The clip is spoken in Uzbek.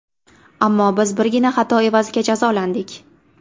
Ammo biz birgina xato evaziga jazolandik.